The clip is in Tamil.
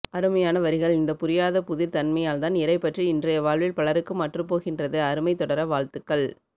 அருமையான வரிகள் இந்த புரியாதபுதிர் தன்மையால்தான் இறைப்பற்று இன்றைய வாழ்வில் பலருக்கும் அற்றுப்போகின்றது அருமை தொடர வாழ்த்துகள்